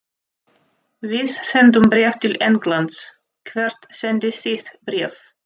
Við sendum bréf til Englands. Hvert sendið þið bréf?